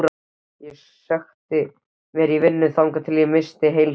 Ég sökkti mér í vinnu þangað til ég missti heilsuna.